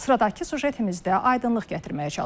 Sıradakı süjetimizdə aydınlıq gətirməyə çalışmışıq.